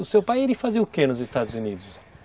O seu pai, ele fazia o que nos Estados Unidos?